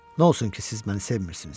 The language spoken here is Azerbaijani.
Nə olsun ki, siz məni sevmirsiniz?